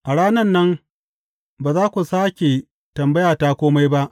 A ranan nan, ba za ku sāke tambaya ta kome ba.